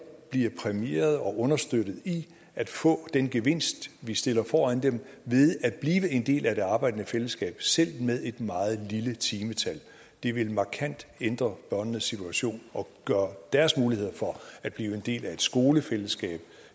bliver præmieret og understøttet i at få den gevinst vi stiller foran dem ved at blive en del af det arbejdende fællesskab selv med et meget lille timetal det vil markant ændre børnenes situation og gøre deres muligheder for at blive en del af et skolefællesskab